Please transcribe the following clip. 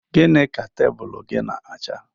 Gịnị ka tebụlụ gị n'acha?